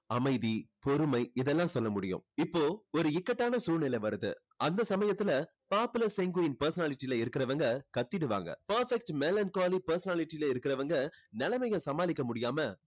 அமைதி, பொறுமை இதெல்லாம் சொல்ல முடியும். இப்போ ஒரு இக்கட்டான சூழ்நிலை வருது அந்த சமயத்துல popular sanguine personality ல இருக்கிறவங்க கத்திடுவாங்க. perfect melancholy personality ல இருக்கிறவங்க நிலைமையை சமாளிக்க முடியாம